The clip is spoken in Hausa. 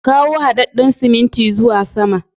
Ka kawo haɗaɗɗan siminti zuwa sama.